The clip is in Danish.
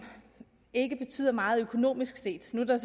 ikke betyder meget økonomisk set nu er der